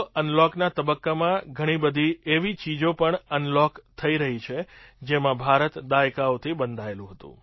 અનલૉકના તબક્કામાં ઘણી બધી એવી ચીજો પણ અનલૉક થઈ રહી છે જેમાં ભારત દાયકાઓથી બંધાયેલું હતું